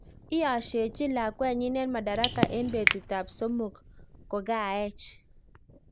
Iyasiechin lakwenyi en madaraka en petut ap somok kokaech